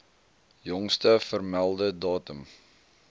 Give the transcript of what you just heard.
jongste vermelde datum